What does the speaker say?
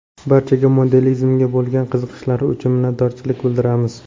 Barchaga modelimizga bo‘lgan qiziqishlari uchun minnatdorchilik bildiramiz!